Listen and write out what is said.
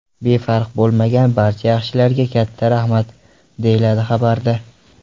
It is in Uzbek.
Befarq bo‘lmagan barcha yaxshilarga katta rahmat”, deyiladi xabarda.